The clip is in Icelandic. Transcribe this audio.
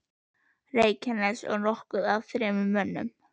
Reykjanes og nokkuð af þremur mönnum.